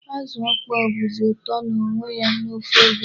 Azụ ọkpọọ bụzi ụtọ n'onwe ya n'ofe egusi.